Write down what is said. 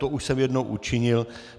To už jsem jednou učinil.